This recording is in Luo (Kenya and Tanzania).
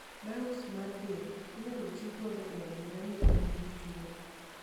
Biops mar del inyalo ti godo e adiera ni in gi tuo.